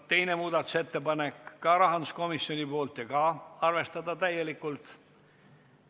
Ka teine muudatusettepanek on rahanduskomisjonilt ja sedagi on täielikult arvestatud.